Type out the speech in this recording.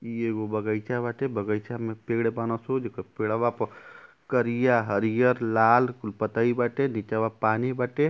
इ एगो बगइचा बाटे। बगइचा में पेड़ बान सो। जेक पेड़वा प करिया हरियर लाल कुल पतई बाटे। नीचवा पानी बाटे।